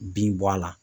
Bin bɔ a la